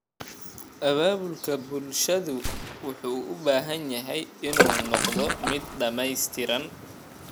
Abaabulka bulshadu wuxuu u baahan yahay inuu noqdo mid dhamaystiran.